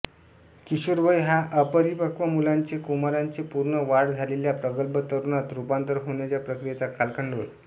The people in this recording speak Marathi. किशोरवय हा अपरिपक्व मुलाचे कुमाराचे पूर्ण वाढ झालेल्या प्रगल्भ तरुणात रूपांतर होण्याच्या प्रक्रियेचा कालखंड होय